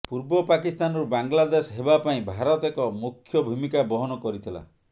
ପୂର୍ବ ପାକିସ୍ତାନରୁ ବାଂଲାଦେଶ ହେବା ପାଇଁ ଭାରତ ଏକ ମୁଖ୍ୟ ଭୂମିକା ବହନ କରିଥିଲା